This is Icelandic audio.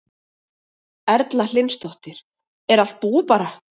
Erla Hlynsdóttir: Er allt búið bara?